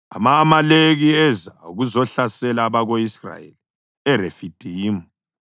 Ama-Amaleki eza ukuzohlasela abako-Israyeli eRefidimu.